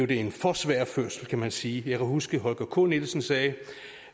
det en for svær fødsel kan man sige jeg kan huske at holger k nielsen sagde